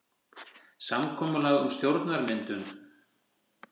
Samkomulag um stjórnarmyndun